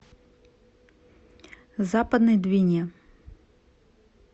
западной двине